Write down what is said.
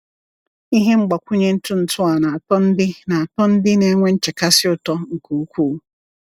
Ihe mgbakwunye ntụ ntụ a na-atọ ndị na-atọ ndị na-enwe nchekasị ụtọ nke ukwuu.